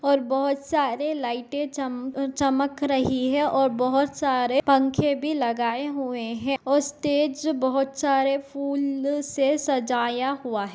और बहुत सारे लाइटे चम अ चमक रही है और बहुत सारे पंखे भी लगाए हुयें हैं और स्टेज बहुत सारे फूल से सजाया हुआ है।